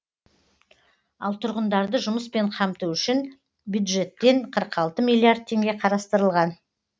ал тұрғындарды жұмыспен қамту үшін бюджеттен қырық алты миллиард теңге қарастырылған